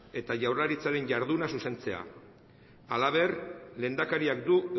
eta jaurlaritzaren jarduna zuzentzea halaber lehendakariak du